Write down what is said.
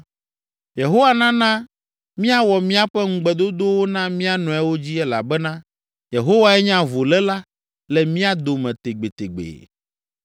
Yehowa nana míawɔ míaƒe ŋugbedodowo na mía nɔewo dzi elabena Yehowae nye avuléla le mía dome tegbetegbe.”